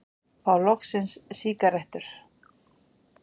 Fá loksins sígarettur